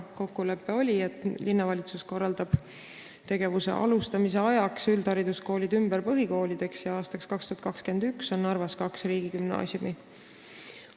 Kokkulepe oli, et linnavalitsus korraldab tegevuse alustamise ajaks üldhariduskoolid ümber põhikoolideks ja aastaks 2021 on Narvas kaks riigigümnaasiumi.